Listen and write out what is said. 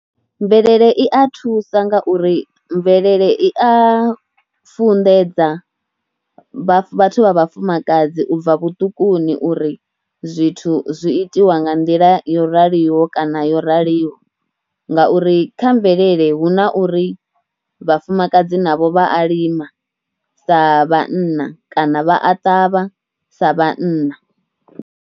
Mvelele i a thusa nga uri mvelele i a funḓedza vhaṅwe vhathu vha vhafumakadzi u bva vhuṱukuni uri zwithu zwi itiwa nga nḓila yo raliho kana yo raliho nga uri kha mvelele hu na uri vhafumakadzi navho vha a lima sa vhanna kana vha a ṱavha sa vhanna.